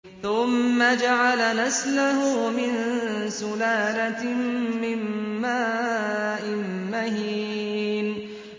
ثُمَّ جَعَلَ نَسْلَهُ مِن سُلَالَةٍ مِّن مَّاءٍ مَّهِينٍ